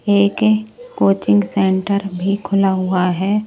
एक coaching centre भी खुला हुआ है।